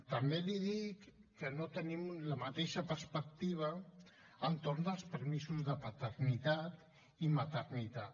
també li dic que no tenim la mateixa perspectiva entorn dels permisos de paternitat i maternitat